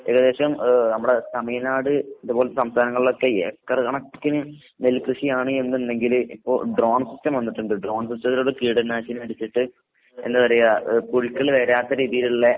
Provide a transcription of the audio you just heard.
ഏകദേശം ഏഹ് നമ്മടെ തമിഴ് നാട് ഇത് പോലത്തെ സംസ്ഥാനങ്ങളിലൊക്കെ ഏക്കറ് കണക്കിന് നെൽക്കൃഷിയാണ് എന്ന്ണ്ടെങ്കില് ഇപ്പൊ ഡ്രോൺ സിസ്റ്റം വന്ന്‌ട്ട്ണ്ട്. ഡ്രോൺ സിസ്റ്റത്തിലോട്ട് കീടനാശിനിയടിച്ചിട്ട് എന്താ പറയാ ഏഹ് പുഴുക്കള് വരാത്ത രീതീല്ള്ള